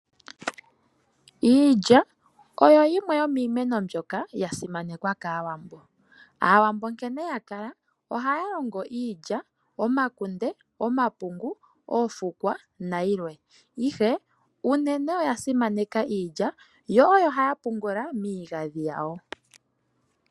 Iilya oyo yimwe yomiimeno mbyoka ya simanekwa kAawambo. Aawambo nkene ya kala ohaya longo iilya, omakunde, omapungu, oofukwa, nayilwe, ihe unene oya simaneka iilya, yo oyo haya pungula miigandhi yawo.